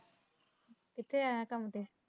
ਕਿੱਥੇ ਆਇਆ ਕੰਮ ਤੇ